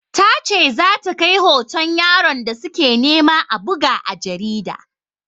Ta ce za ta kai hoton yaron da su ke nema a buga a jarida.